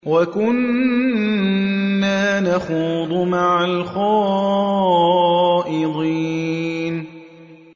وَكُنَّا نَخُوضُ مَعَ الْخَائِضِينَ